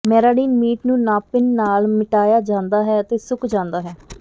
ਮੈਰਾਡੀਨ meat ਨੂੰ ਨਾਪਿਨ ਨਾਲ ਮਿਟਾਇਆ ਜਾਂਦਾ ਹੈ ਅਤੇ ਸੁੱਕ ਜਾਂਦਾ ਹੈ